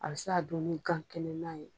A bi se ka dun ni gan kɛnɛnan ye